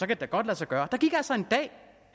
det da godt lade sig gøre der gik altså en dag